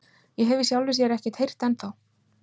Ég hef í sjálfu sér ekkert heyrt ennþá.